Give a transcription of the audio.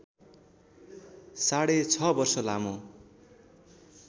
साढे छ वर्ष लामो